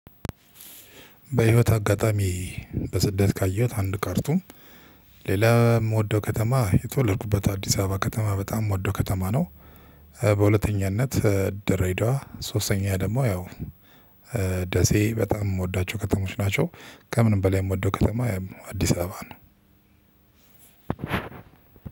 በህይወት አጋጣሚ በስደት ካየሁት አንድ ካርቱም ሌላ የምወደው ከተማ የተወለድኩበት አዲስ አበባ ከተማ በጣም የምወደው ከተማ ነው። በሁለተኛነት ደሬዳዋ ሶስተኛ ደግሞ ያው ደሴ በጣም የምወዳቸው ከተሞች ናቸው። ከምንም በላይ የምወደው ከተማ አዲስ አበባ ነው።